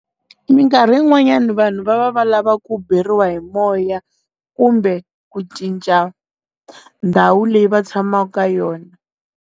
Mikarhi yin'wanyani vanhu va va va lava ku beriwa hi moya kumbe ku cinca ndhawu leyi va tshamaka yona.